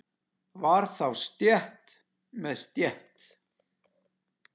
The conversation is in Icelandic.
Var þá stétt með stétt?